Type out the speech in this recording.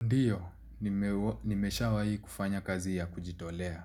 Ndiyo, nimeshawa hi kufanya kazi ya kujitolea.